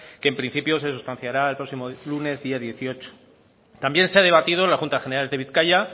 que en principio se sustanciará el próximo lunes día dieciocho también se ha debatido en las juntas generales de bizkaia